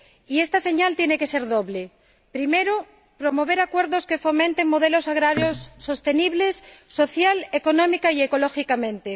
Y esta señal tiene que ser doble primero, promover acuerdos que fomenten modelos agrarios sostenibles social, económica y ecológicamente